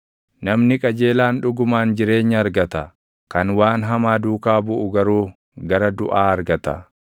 Namni qajeelaan dhugumaan jireenya argata; kan waan hamaa duukaa buʼu garuu gara duʼaa argata.